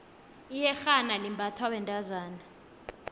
iyexhana libnbathwa bentozana